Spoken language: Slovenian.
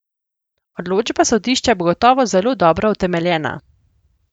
Odločba sodišča bo gotovo zelo dobro utemeljena.